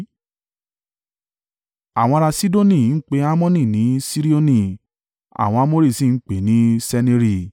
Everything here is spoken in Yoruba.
(Àwọn ará Sidoni ń pe Hermoni ní Sirioni. Àwọn Amori sì ń pè é ní Seniri).